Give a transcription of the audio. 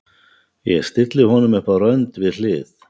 Ég stilli honum upp á rönd við hlið